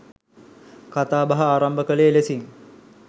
කථා බහ ආරම්භ කළේ එලෙසින්.